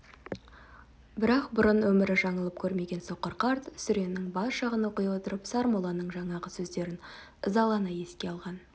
бірақ бұрын өмірі жаңылып көрмеген соқыр қарт сүренің бас жағын оқи отырып сармолланың жаңағы сөздерін ызалана еске алған